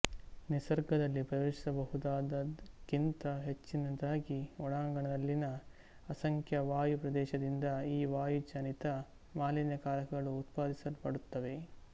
ನಿಸರ್ಗದಲ್ಲಿ ಪ್ರವೇಶಿಸಬಹುದಾದದ್ದಕ್ಕಿಂತ ಹೆಚ್ಚಿನದಾಗಿ ಒಳಾಂಗಣದಲ್ಲಿನ ಅಸಂಖ್ಯ ವಾಯು ಪ್ರವೇಶದಿಂದ ಈ ವಾಯುಜನಿತ ಮಾಲಿನ್ಯಕಾರಕಗಳು ಉತ್ಪಾದಿಸಲ್ಪಡುತ್ತವೆ